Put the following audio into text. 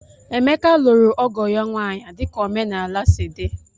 Emeka lụrụ ọgo ya nwaanyị dika omenala sị di